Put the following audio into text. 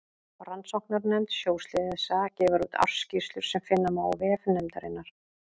Rannsóknarnefnd sjóslysa gefur úr ársskýrslur sem finna má á vef nefndarinnar.